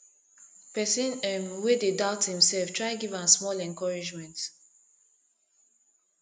pesin um wey dey doubt imself try giv am small encouragement